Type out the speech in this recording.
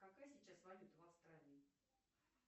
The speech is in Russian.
какая сейчас валюта в австралии